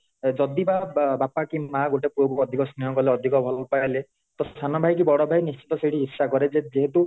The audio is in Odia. ଯଦି ବା ବାପା କି ମାଆ ଗୋଟେ ପୁଅ କୁ ଅଧିକ ସ୍ନେହ କଲେ କି ଅଧିକ ଭଲ ପାଇଲେ ତ ସାନ ଭାଇ କି ବଡ ଭାଇ ନିଶ୍ଚିତ ସେଠି ଈର୍ଷା କରେଯେ ଯେହେତୁ